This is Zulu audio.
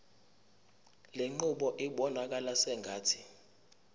lenqubo ibonakala sengathi